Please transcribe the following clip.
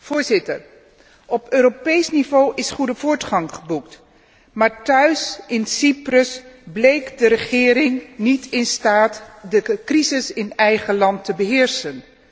Voorzitter, op Europees niveau is goede voortgang geboekt, maar thuis in Cyprus bleek de regering niet in staat de crisis in eigen land te beheersen.